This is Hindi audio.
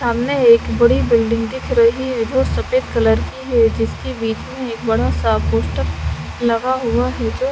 सामने एक बड़ी बिल्डिंग दिख रही है जो सफ़ेद कलर की है जिसके बिच में एक बड़ा सा पोस्टर लगा हुआ है जो --